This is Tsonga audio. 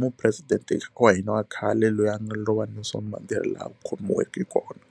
mupresidente wa hina wa khale loyi a nga lova ni ni ri laha a khomiweke kona.